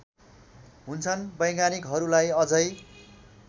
हुन्छन् वैज्ञानिकहरूलाई अझै